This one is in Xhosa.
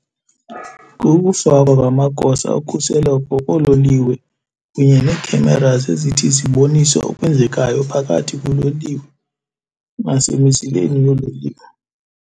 Kukufakwa kwamagosa okhuseleko koololiwe kunye ne-cameras ezithi zibonise okwenzekayo phakathi kuloliwe nasebuzileni .